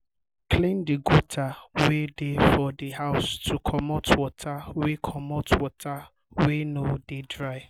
clean the gutter wey dey for di house to comot water wey comot water wey no dey dry